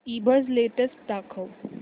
ईबझ लेटेस्ट दाखव